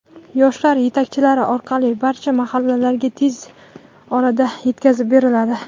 yoshlar yetakchilari orqali barcha mahallalarga tez orada yetkazib beriladi.